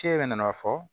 Cɛ yɛrɛ nana fɔ